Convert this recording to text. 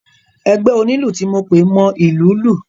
Ẹgbẹ́ onílù ti mo pè mọ ìlú lù.